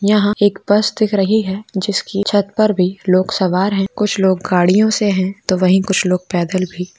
यहां पर एक बस दिख रही है जिसकी छत पर भी लोग सवार है कुछ लोग गाड़ियों से वही कुछ लोग पैदल भी।